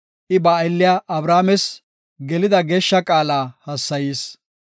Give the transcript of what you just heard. I ba aylliya Abrahaames, gelida geeshsha qaala hassayis.